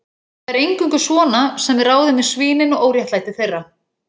Það er eingöngu svona sem við ráðum við svínin og óréttlæti þeirra